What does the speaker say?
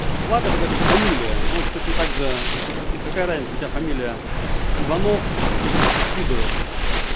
флаг это как фамилия ну вот точно так же какая разница у тебя фамилия иванов или сидоров